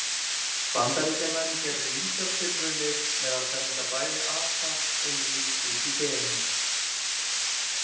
Bandaríkjamenn gerðu ýmsar tilraunir með að senda bæði apa og mýs út í geim.